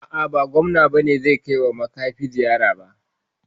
A'a ba gobe bane gwamna zai kaiwa makafi ziyara ba